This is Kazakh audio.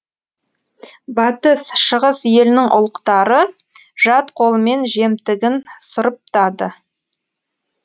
батыс шығыс елінің ұлықтары жат қолымен жемтігін сұрыптады